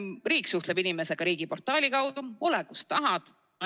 Riik suhtleb inimesega riigiportaali kaudu, ole, kus tahad.